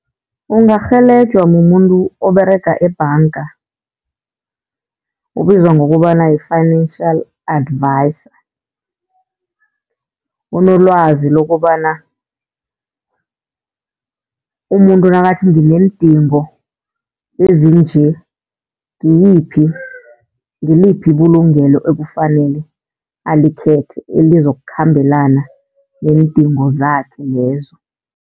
Ungarhelejwa mumuntu oberega ebhanga, obizwa ngokobana yi-financial advisor. Unolwazi lokobana umuntu nakathi ngineendingo ezinje ngiyiphi, ngiliphi ibulungelo ekufanele alikhethe elizokukhambelana neendingo zakhe lezo.